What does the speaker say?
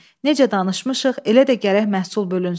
Necə danışmışıq, elə də gərək məhsul bölünsün.